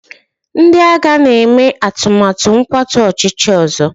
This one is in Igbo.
ndị agha na-eme atụmatụ ịkwatu ọchịchị ọzọ